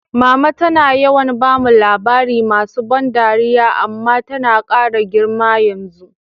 Mama tana yawan bamu labari masu ban dariya, amma tana kara girma yanzu.